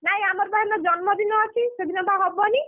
ନାଇଁ ଆମର ବା ଏନେ ଜନ୍ମଦିନ ଅଛି, ସେଦିନ ବା ହବନି।